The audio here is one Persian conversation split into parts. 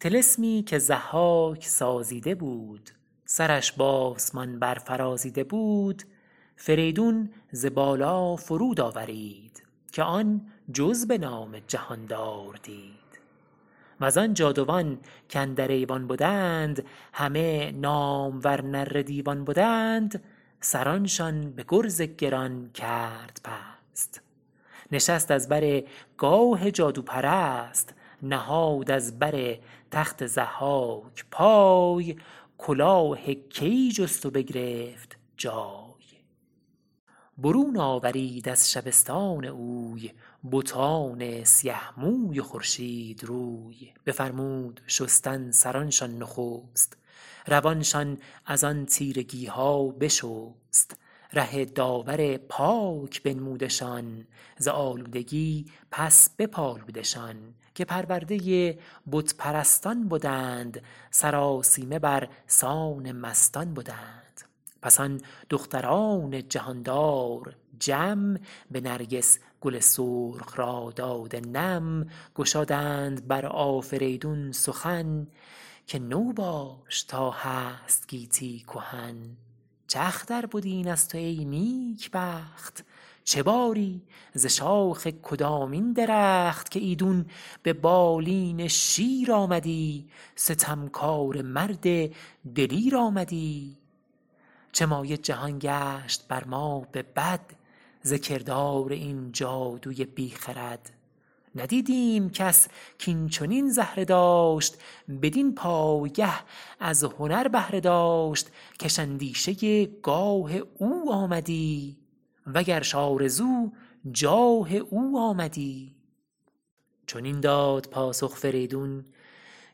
طلسمی که ضحاک سازیده بود سرش به آسمان بر فرازیده بود فریدون ز بالا فرود آورید که آن جز به نام جهاندار دید و زآن جادوان کاندر ایوان بدند همه نامور نره دیوان بدند سرانشان به گرز گران کرد پست نشست از بر گاه جادوپرست نهاد از بر تخت ضحاک پای کلاه کیی جست و بگرفت جای برون آورید از شبستان اوی بتان سیه موی و خورشید روی بفرمود شستن سرانشان نخست روانشان از آن تیرگی ها بشست ره داور پاک بنمودشان ز آلودگی پس بپالودشان که پرورده بت پرستان بدند سرآسیمه بر سان مستان بدند پس آن دختران جهاندار جم به نرگس گل سرخ را داده نم گشادند بر آفریدون سخن که تو باش تا هست گیتی کهن چه اختر بد این از تو ای نیک بخت چه باری ز شاخ کدامین درخت که ایدون به بالین شیر آمدی ستمکاره مرد دلیر آمدی چه مایه جهان گشت بر ما به بد ز کردار این جادوی بی خرد ندیدیم کس کاین چنین زهره داشت بدین پایگه از هنر بهره داشت کش اندیشه گاه او آمدی و گرش آرزو جاه او آمدی چنین داد پاسخ فریدون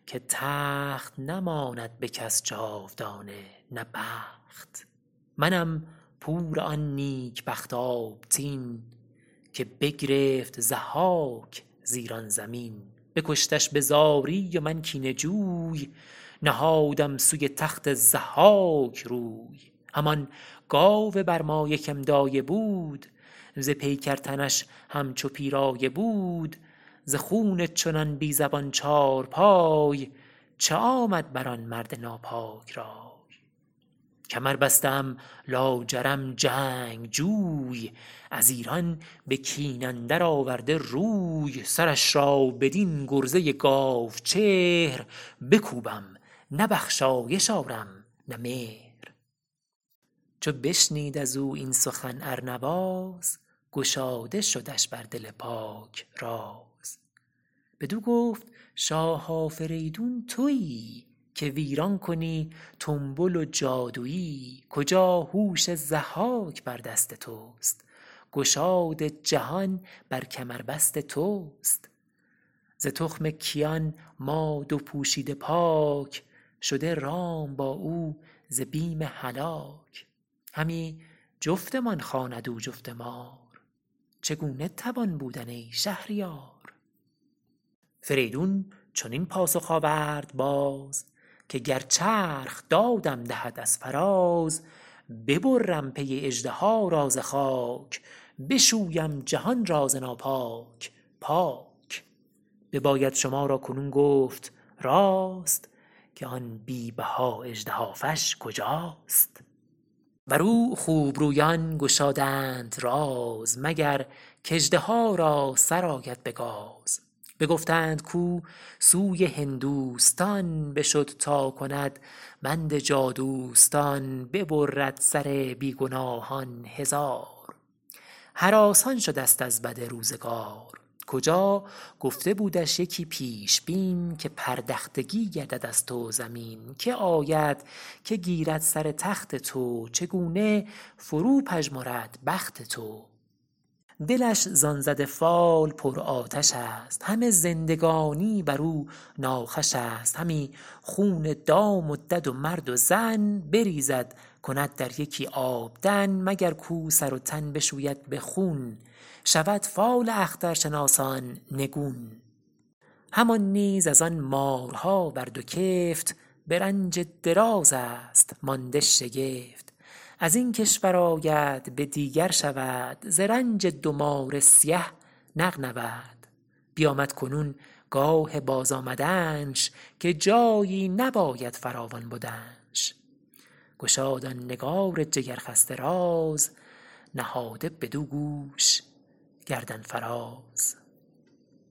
که تخت نماند به کس جاودانه نه بخت منم پور آن نیک بخت آبتین که بگرفت ضحاک ز ایران زمین بکشتش به زاری و من کینه جوی نهادم سوی تخت ضحاک روی همان گاو برمایه که م دایه بود ز پیکر تنش همچو پیرایه بود ز خون چنان بی زبان چارپای چه آمد بر آن مرد ناپاک رای کمر بسته ام لاجرم جنگجوی از ایران به کین اندر آورده روی سرش را بدین گرزه گاو چهر بکوبم نه بخشایش آرم نه مهر چو بشنید از او این سخن ارنواز گشاده شدش بر دل پاک راز بدو گفت شاه آفریدون تویی که ویران کنی تنبل و جادویی کجا هوش ضحاک بر دست تست گشاد جهان بر کمربست تست ز تخم کیان ما دو پوشیده پاک شده رام با او ز بیم هلاک همی جفتمان خواند او جفت مار چگونه توان بودن ای شهریار فریدون چنین پاسخ آورد باز که گر چرخ دادم دهد از فراز ببرم پی اژدها را ز خاک بشویم جهان را ز ناپاک پاک بباید شما را کنون گفت راست که آن بی بها اژدهافش کجاست بر او خوب رویان گشادند راز مگر کاژدها را سر آید به گاز بگفتند کاو سوی هندوستان بشد تا کند بند جادوستان ببرد سر بی گناهان هزار هراسان شده ست از بد روزگار کجا گفته بودش یکی پیشبین که پردختگی گردد از تو زمین که آید که گیرد سر تخت تو چگونه فرو پژمرد بخت تو دلش زآن زده فال پر آتش است همه زندگانی بر او ناخوش است همی خون دام و دد و مرد و زن بریزد کند در یکی آبدن مگر کاو سر و تن بشوید به خون شود فال اخترشناسان نگون همان نیز از آن مارها بر دو کفت به رنج دراز است مانده شگفت از این کشور آید به دیگر شود ز رنج دو مار سیه نغنود بیامد کنون گاه بازآمدنش که جایی نباید فراوان بدنش گشاد آن نگار جگر خسته راز نهاده بدو گوش گردن فراز